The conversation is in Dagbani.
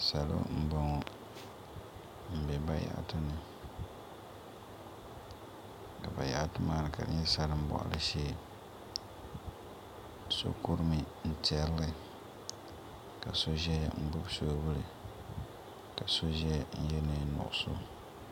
Salo m-bɔŋɔ m-be bayaɣati ni ka bayaɣati maa ka di nyɛ salimbɔɣili shee so kurimi n-tɛri li ka so ʒiya n-gbubi soobuli ka so ʒiya n-ye neen' nuɣiso